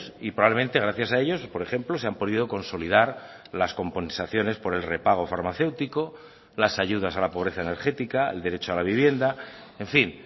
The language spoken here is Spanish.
y probablemente gracias a ellos por ejemplo se han podido consolidar las compensaciones por el repago farmacéutico las ayudas a la pobreza energética el derecho a la vivienda en fin